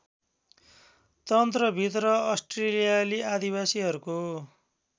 तन्त्रभित्र अस्ट्रेलियाली आदिवासीहरूको